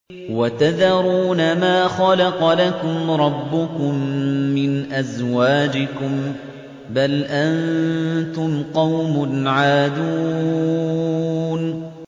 وَتَذَرُونَ مَا خَلَقَ لَكُمْ رَبُّكُم مِّنْ أَزْوَاجِكُم ۚ بَلْ أَنتُمْ قَوْمٌ عَادُونَ